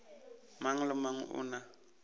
mang le mang o na